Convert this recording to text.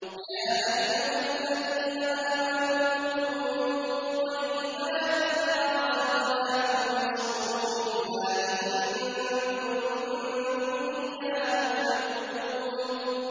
يَا أَيُّهَا الَّذِينَ آمَنُوا كُلُوا مِن طَيِّبَاتِ مَا رَزَقْنَاكُمْ وَاشْكُرُوا لِلَّهِ إِن كُنتُمْ إِيَّاهُ تَعْبُدُونَ